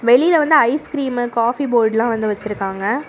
வெளில வந்து ice cream coffee போர்ட்லா வந்து வெச்சிருக்காங்க.